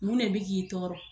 Mun ne bɛ k'i tɔɔrɔ.